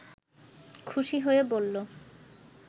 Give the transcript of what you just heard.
খুশি হয়ে বলল